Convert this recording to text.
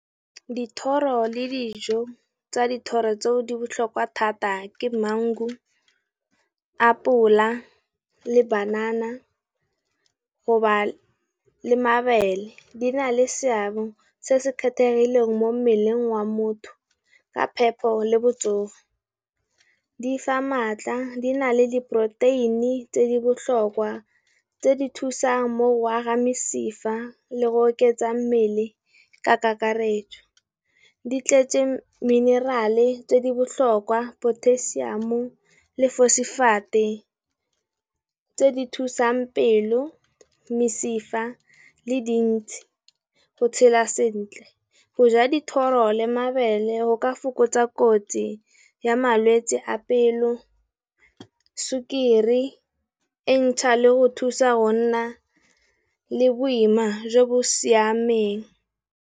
Dithoro le dijo tsa dithoro tseo di botlhokwa thata ke mangu, apole, le banana go ba le mabele. Di na le seabe se se kgethegileng mo mmeleng wa motho, ka phepo le botsogo. Di fa maatla, di na le diporoteini tse di botlhokwa, tse di thusang mo go aga mesifa le go oketsa mmele ka kakaretso. Di tletse mineral tse di botlhokwa potasiamo, fosefeite tse di thusang pelo, mesifa le dintsi go tshela sentle. Go ja dithoro le mabele go ka fokotsa kotsi ya malwetse a pelo, sukiri, entšha le go thusa rona le boima jo bo siameng.